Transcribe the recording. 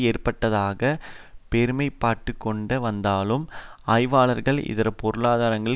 ஏற்பட்டிருப்பதாக பெருமைப்பட்டுக்கொண்டு வந்தாலும் ஆய்வாளர்கள் இதர பொருளாதாரங்கள்